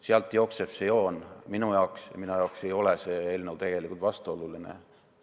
Sealt jookseb see joon minu jaoks ja minu jaoks ei ole see eelnõu tegelikult vastuoluline.